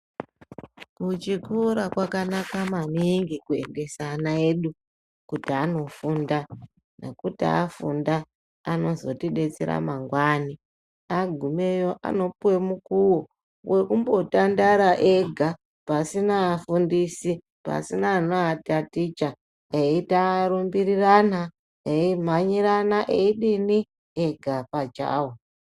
Kuchikora kwakanaka maningi kuendesa ana edu kuti anofunda. Nekuti afunda anozotibetsera mangwani, agumeyo anopuve mukuvo vokumbo tandara ega pasina afundisi pasina anoataticha eita rumbirirana eimhanyirana eidini ega pachavo.